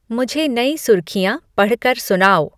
मुझे नई सुर्खियाँ पढ़कर सुनाओ